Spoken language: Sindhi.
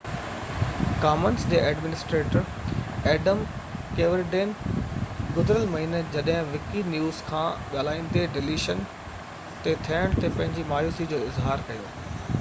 ڪامنس جي ايڊمنسٽريٽر ايڊم ڪيورڊين گذريل مهيني جڏهن وڪي نيوز سان ڳالهائيندي ڊليشن تي ٿيڻ تي پنهنجي مايوسي جو اظهار ڪيو